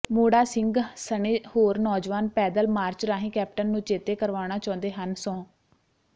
ਮੋੜਾ ਸਿੰਘ ਸਣੇ ਹੋਰ ਨੌਜਵਾਨ ਪੈਦਲ ਮਾਰਚ ਰਾਹੀਂ ਕੈਪਟਨ ਨੂੰ ਚੇਤੇ ਕਰਵਾਉਣਾ ਚਾਹੁੰਦੇ ਹਨ ਸਹੁੰ